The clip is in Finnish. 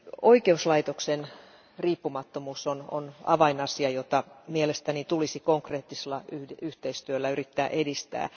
Oikeuslaitoksen riippumattomuus on avainasia, jota mielestäni tulisi konkreettisella yhteistyöllä yrittää edistää.